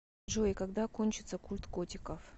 джой когда кончится культ котиков